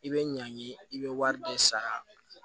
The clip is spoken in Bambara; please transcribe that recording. I bɛ ɲangi i bɛ wari de sara